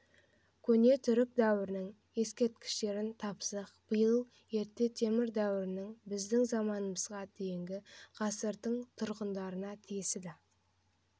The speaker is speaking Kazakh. көне түрік дәуірінің ескерткіштерін тапсақ биыл ерте темір дәуірінің біздің заманымызға дейінгі ғасырдың тұрғындарына тиесілі